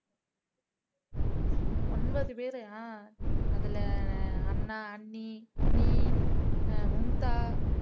ஒன்பது பேரா ஆஹ் அதுல அண்ணன் அண்ணி நீ மும்தா